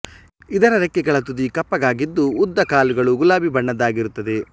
ಇದರ ರೆಕ್ಕೆಗಳ ತುದಿ ಕಪ್ಪಗಾಗಿದ್ದು ಉದ್ದ ಕಾಲುಗಳು ಗುಲಾಬಿ ಬಣ್ಣದ್ದಾಗಿರುತ್ತದೆ